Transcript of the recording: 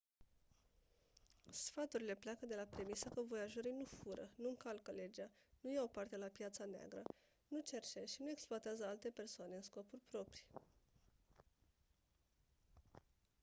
sfaturile pleacă de la premisa că voiajorii nu fură nu încalcă legea nu iau parte la piața neagră nu cerșesc și nu exploatează alte persoane în scopuri proprii